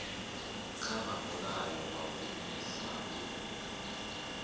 kha mulayo wa vhuaifa hu